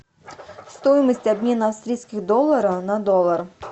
стоимость обмена австрийских долларов на доллар